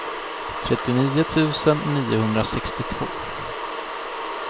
trettionio tusen niohundrasextiotvå